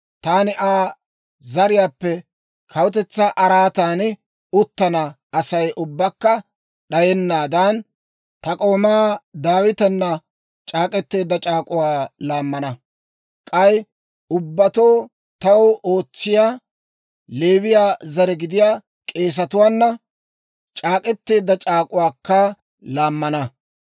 taani Aa zariyaappe kawutetsaa araatan uttana Asay ubbakka d'ayennaadan, ta k'oomaa Daawitenna c'aak'k'eteedda c'aak'uwaa laammana; k'ay ubbatoo taw ootsiyaa, Leewiyaa zare gidiyaa k'eesetuwaana c'aak'k'eteedda c'aak'uwaakka laammana.